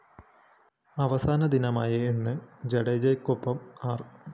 അവസാനദിനമായ ഇന്ന് ജഡേജയ്‌ക്കൊപ്പം ആര്‍